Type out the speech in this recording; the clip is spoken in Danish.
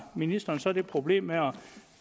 ministeren så problemet